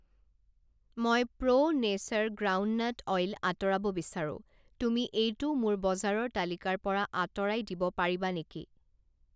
মই Pro Nature groundnut oil আঁতৰাব বিচাৰোঁ, তুমি এইটো মোৰ বজাৰৰ তালিকাৰ পৰা আঁতৰাই দিব পাৰিবা নেকি?